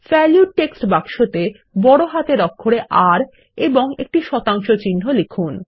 value text বাক্সতে বড় হাতের অক্ষরে r এবং একটি শতাংশ চিহ্ন লিখুন